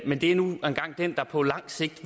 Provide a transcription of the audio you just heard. men det er nu engang den der på lang sigt